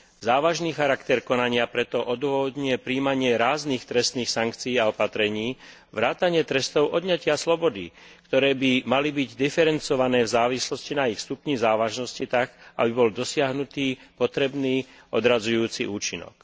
Závažný charakter konania preto odôvodňuje prijímanie ráznych trestných sankcií a opatrení vrátane trestov odňatia slobody, ktoré by mali diferencované v závislosti na ich stupni závažnosti tak, aby bol dosiahnutý potrebný odradzujúci účinok.